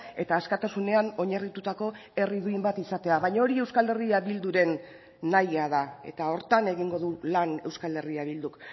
eta askatasunean oinarritutako herri duin bat izatea baina hori euskal herria bilduren nahia da eta horretan egingo du lan euskal herria bilduk